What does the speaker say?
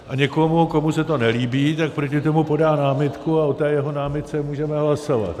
A někdo, komu se to nelíbí, tak proti tomu podá námitku a o té jeho námitce můžeme hlasovat.